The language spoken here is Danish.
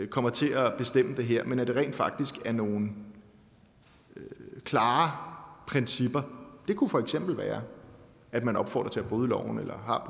kommer til at bestemme det her men at det rent faktisk er nogle klare principper det kunne for eksempel være at man opfordrede bryde loven eller har